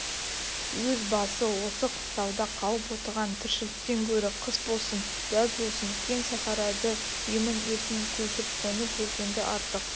өз басы осы қыстауда қалып отырған тіршіліктен гөрі қыс болсын жаз болсын кең сахарады емін-еркін көшіп-қонып жүргенді артық